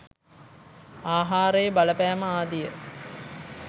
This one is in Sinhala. ආහාරයේ බලපෑම ආදිය